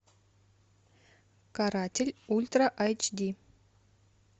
каратель ультра айч ди